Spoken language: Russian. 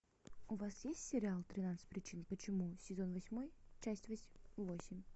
у вас есть сериал тринадцать причин почему сезон восьмой часть восемь